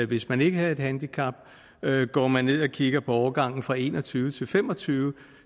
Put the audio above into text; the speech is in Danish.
hvis man ikke havde et handicap går man ned og kigger på årgangen fra en og tyve til fem og tyve